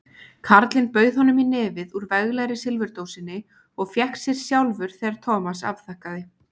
Karlinn bauð honum í nefið úr veglegri silfurdósinni og fékk sér sjálfur þegar Thomas afþakkaði.